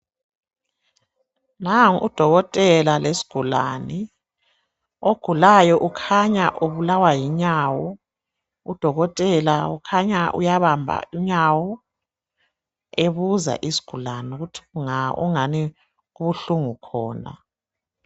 Nangu udokotela lesigulane ogulayo ukhanya ubulawa yinyawo , udokotela ukhanya uyabamba inyawo ebuza isigulane ukuthi kunga okungani kubuhlungu khona.